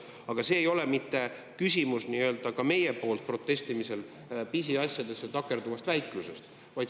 Aga küsimus ei ole mitte meie protestimises, pisiasjadesse takerdumises, väikluses.